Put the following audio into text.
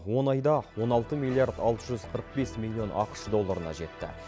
он айда он алты миллиард алты жүз қырық бес миллион ақш долларына жетті